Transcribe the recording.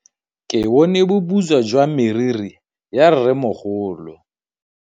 Ke bone boputswa jwa meriri ya rrêmogolo.